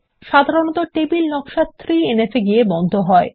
সাধারণত ডাটাবেসের নকশা 3এনএফ -এ গিয়ে বন্ধ হয়